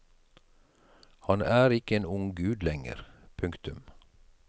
Han er ikke en ung gud lenger. punktum